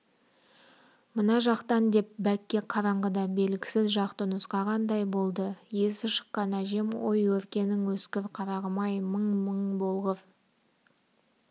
мына жақтан деп бәкке қараңғыда белгісіз жақты нұсқағандай болды есі шыққан әжем ой өркенің өскір қарағым-ай мың бол мың болғыр